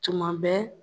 Tuma bɛɛ